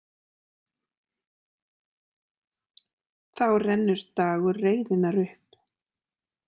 Þá rennur dagur reiðinnar upp.